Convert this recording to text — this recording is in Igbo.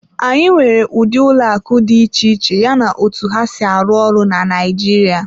Anyị nwere ụdị ụlọ akụ dị iche iche yana otu ha si arụ ọrụ na Naịjirịa.